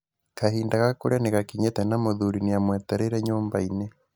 Kahinda ga kũrĩa nĩgakinyĩte na mũthuri nĩamwetereire nyũmbainĩ.